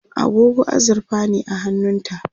agogo azurfa ne a hannunta